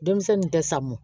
Denmisɛnnin tɛ samun